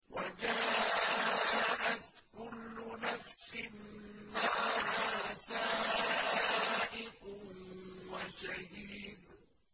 وَجَاءَتْ كُلُّ نَفْسٍ مَّعَهَا سَائِقٌ وَشَهِيدٌ